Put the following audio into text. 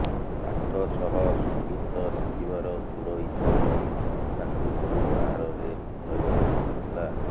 ପାଠ ସହ ସଙ୍ଗୀତ ଶିଖିବାର ଦୃଢ ଇଛା ପାଇଁ ତାଙ୍କୁ ଘରୁ ବାହାରରେ ରହିବାକୁ ପଡିଥିଲା